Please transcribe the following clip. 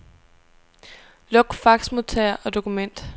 Luk faxmodtager og dokument.